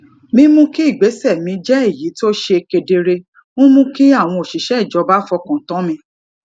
mímú kí ìgbésẹ mi jẹ èyí tó ṣe kedere ń mú kí àwọn òṣìṣẹ ìjọba fọkàn tán mi